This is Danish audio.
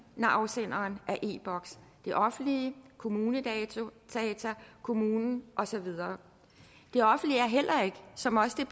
når afsenderen er e boks det offentlige kommunedata kommunen og så videre det offentlige er heller ikke som også